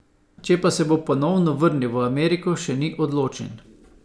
Če pa se bo ponovno vrnil v Ameriko še ni odločen.